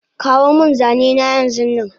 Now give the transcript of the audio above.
Kawomin zanena yanzunnan